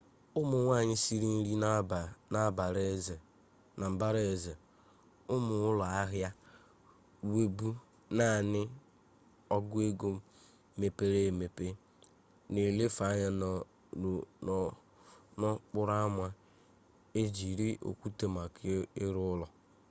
ụmụ nwanyị siri nri na mbara eze ụmụ ụlọ ahịa wụbụ naanị ọgụego mepere emepe na-elefe anya n'okporo ama e jire okwute maka ịrụ ụlọ